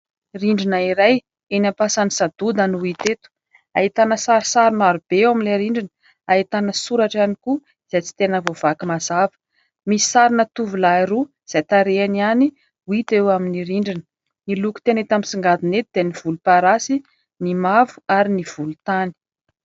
Rindrina iray eny am-pasan'i Sadoda no hita eto. Ahitana sarisary marobe eo amin'ilay rindrina ; ahitana soratra ihany koa izay tsy tena voavaky mazava. Misy sarina tovolahy roa izay tarehiny ihany no hita eo amin'ny rindrina. Ny loko tena hita misongadina eto dia : ny volomparasy, ny mavo ary ny volontany.